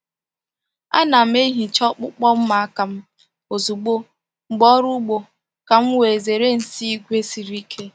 A na m ehicha ọkpụkpụ mma aka m ozugbo mgbe ọrụ ugbo ka m wee zere nsị ígwè siri ike.